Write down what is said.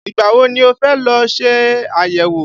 Ìgbà wo ni o fẹ́ lọ ṣe àyẹ̀wò?